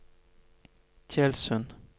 Tjeldsund